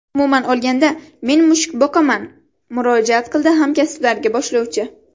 Umuman olganda, men mushuk boqaman”, murojaat qildi hamkasblariga boshlovchi.